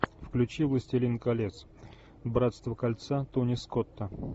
включи властелин колец братство кольца тони скотта